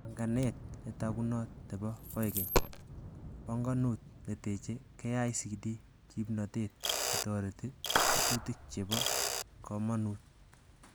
Banganet netakunot nepo koigeny, bongonut neteche KICD kipnotet netoreti tetutik chepo komonut.